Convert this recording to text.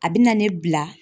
A bɛ na ne bila.